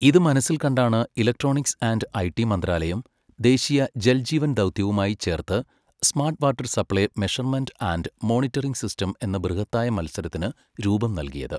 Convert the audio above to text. ഇത് മനസ്സിൽ കണ്ടാണ് ഇലക്ട്രോണിക്സ് ആൻഡ് ഐടി മന്ത്രാലയം, ദേശീയ ജൽ ജീവൻ ദൗത്യവുമായി ചേർത്ത് smart water supply measurement and monitoring system എന്ന ബൃഹത്തായ മത്സരത്തിന് രൂപം നൽകിയത്.